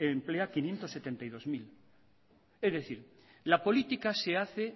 emplea quinientos setenta y dos mil es decir la política se hace